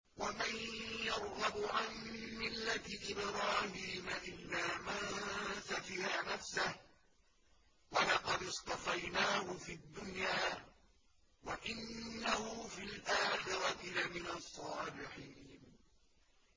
وَمَن يَرْغَبُ عَن مِّلَّةِ إِبْرَاهِيمَ إِلَّا مَن سَفِهَ نَفْسَهُ ۚ وَلَقَدِ اصْطَفَيْنَاهُ فِي الدُّنْيَا ۖ وَإِنَّهُ فِي الْآخِرَةِ لَمِنَ الصَّالِحِينَ